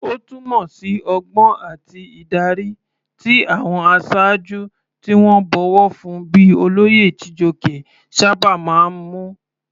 Ó túmọ̀ sí ọgbọ́n àti ìdarí, tí àwọn aṣáájú tí wọ́n bọ̀wọ̀ fún bíi olóyè Chijioke sábà máa ń mú.